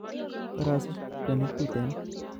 Korosich kwenik tuten